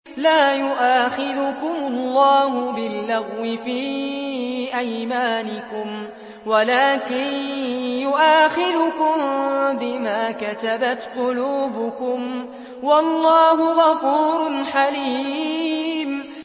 لَّا يُؤَاخِذُكُمُ اللَّهُ بِاللَّغْوِ فِي أَيْمَانِكُمْ وَلَٰكِن يُؤَاخِذُكُم بِمَا كَسَبَتْ قُلُوبُكُمْ ۗ وَاللَّهُ غَفُورٌ حَلِيمٌ